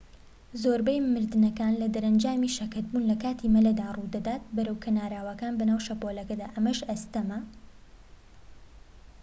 زۆربەی مردنەکان لە دەرەنجامی شەکەتبوون لە کاتی مەلەدا ڕوودەدات بەرەو کەناراوەکە بەناو شەپۆلەکەدا ئەمەش ئاستەمە